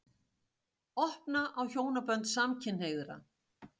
Opna á hjónabönd samkynhneigðra